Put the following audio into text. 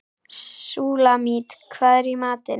Súlamít, hvað er í matinn?